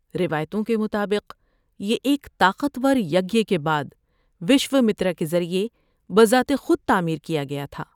روایتوں کے مطابق، یہ ایک طاقتور یگیہ کے بعد وشومتر کے ذریعے بذات خود تعمیر کیا گیا تھا۔